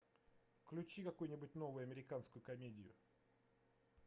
включи какую нибудь новую американскую комедию